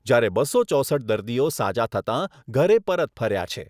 જ્યારે બસો ચોસઠ દર્દીઓ સાજા થતાં ઘરે પરત ફર્યા છે.